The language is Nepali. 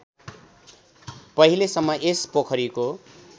पहिलेसम्म यस पोखरीको